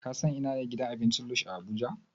Ka san ina ne gidan abincin Lush a Abuja?